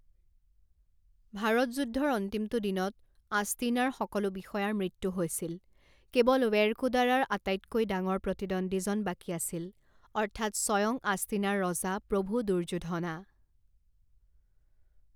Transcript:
ভাৰতযুদ্ধৰ অন্তিমটো দিনত, আষ্টিনাৰ সকলো বিষয়াৰ মৃত্যু হৈছিল, কেৱল ৱেৰকুদাৰাৰ আটাইতকৈ ডাঙৰ প্ৰতিদ্বন্দীজন বাকী আছিল, অৰ্থাৎ স্বয়ং আষ্টিনাৰ ৰজা প্ৰভু দুৰ্যুধনা।